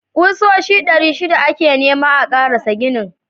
Kusoshi ɗari shida ake nema a karasa ginin.